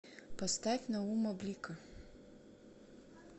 поставь наума блика